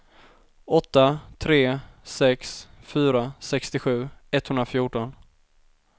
åtta tre sex fyra sextiosju etthundrafjorton